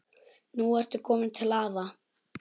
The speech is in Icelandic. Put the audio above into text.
Nú ertu komin til afa.